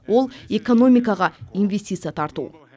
ол экономикаға инвестиция тарту